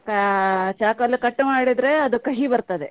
ಕಾ~ ಚಾಕು ಅಲ್ಲಿ cut ಮಾಡಿದ್ರೆ ಅದು ಕಹಿ ಬರ್ತದೆ.